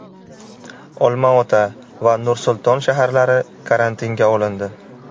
Olmaota va Nursulton shaharlari karantinga olindi.